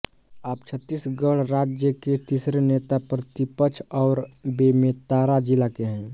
आप छत्तीसगढ़ राज्य के तीसरे नेता प्रतिपक्ष है और बेमेतरा जिले के